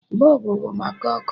bulbs bụ maka ọkụ